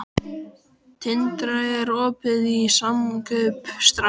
Tindra, er opið í Samkaup Strax?